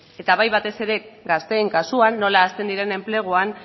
eta bai batez ere gazteen kasuan nola hasten diren enpleguan